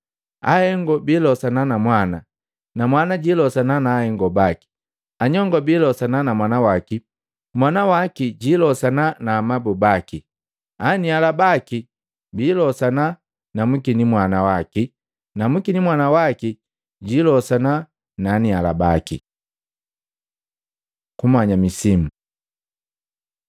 Ahengo biilosana na mwana, na mwana jilosana na ahengo baki. Anyongo biilosana na mwana waki, mwana waki jiilosana na amabu baki. Aniala baki biilosana na mwinikimwana waki na mwinikimwana waki jiilosana na anialabaki.” Kumanya misimu Matei 1:2-3